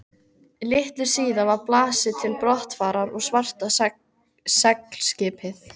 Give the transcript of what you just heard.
Litlu síðar var blásið til brottfarar og svarta seglskipið